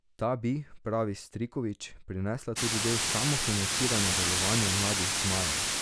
Ta bi, pravi Striković, prinesla tudi del samofinanciranja delovanja Mladih zmajev.